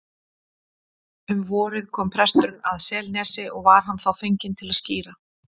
Um vorið kom presturinn að Selnesi og var hann þá fenginn til að skíra.